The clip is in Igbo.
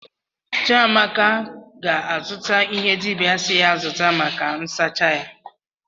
Chiamaka ga-azụta ihe dibịa si ya zụta maka nsacha ya.